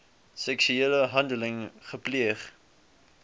seksuele handeling gepleeg